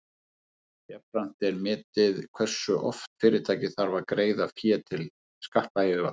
jafnframt er metið hversu oft fyrirtækið þarf að greiða fé til skattayfirvalda